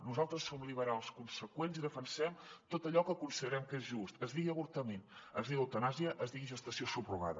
nosaltres som liberals conseqüents i defensem tot allò que considerem que és just es digui avortament es digui eutanàsia es digui gestació subrogada